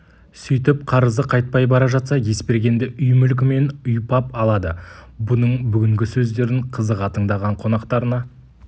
сөйтіп қарызы қайтпай бара жатса есбергенді үй мүлкімен ұйпап алады бұның бүгінгі сөздерін қызыға тыңдаған қонақтарына